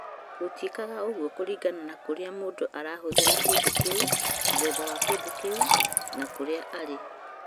Gũtiĩkaga ũguo kũringana na kũrĩa mũndũ arahũthĩra kĩndũ kĩu, mũthemba wa kĩndũ kĩu, na kũrĩa arĩ.